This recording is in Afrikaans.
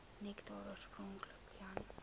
nektar oorspronklik jan